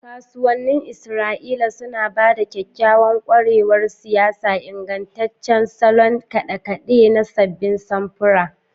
Kasuwannin Isra'ila suna ba da kyakkyawan ƙwarewar siyayya, ingantaccen salon kade-kade na sabbin samfura.